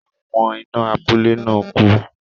Àwọn iná abúlé náà ku